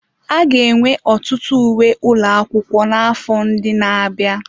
A ga-enwe ọtụtụ uwe ụlọ akwụkwọ n'afọ ndị na-abịa.